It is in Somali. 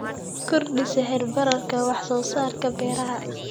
Kordhi sicir bararka wax soo saarka beeraha.